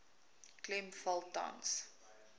klem val tans